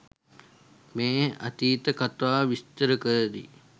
මේ අතීත කතාව විස්තර කර දී